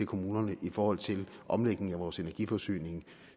kommunerne i forhold til omlægning af vores energiforsyning